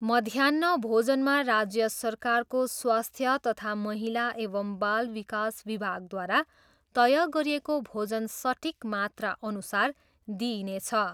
मध्याह्न भोजनमा राज्य सरकारको स्वास्थ्य तथा महिला एवं बाल विकास विभागद्वारा तय गरिएको भोजन सटिक मात्रा अनुसार दिइनेछ।